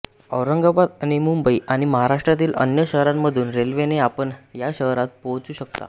औरंगाबाद आणि मुंबई आणि महाराष्ट्रातील अन्य शहरांमधून रेल्वेने आपण या शहरात पोहोचू शकता